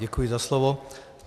Děkuji za slovo.